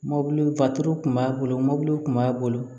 Mɔbili kun b'a bolo mɔbiliw kun b'a bolo